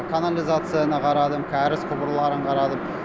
канализацияны қарадым кәріз құбырларын қарадым